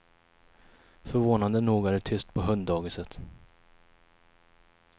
Förvånande nog är det tyst på hunddagiset.